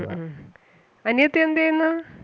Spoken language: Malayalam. ഉം അനിയത്തി എന്ത് ചെയ്യുന്നു?